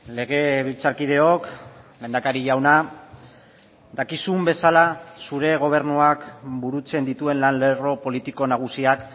legebiltzarkideok lehendakari jauna dakizun bezala zure gobernuak burutzen dituen lan lerro politiko nagusiak